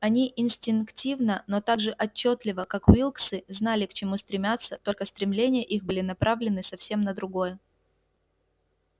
они инстинктивно но так же отчётливо как уилксы знали к чему стремятся только стремления их были направлены совсем на другое